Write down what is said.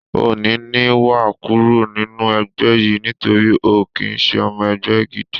Òní ni wàá kúrò nínú ẹgbẹ́ yìí nítorí o ò kí ń ṣe ọmọ ẹgbẹ́ gidi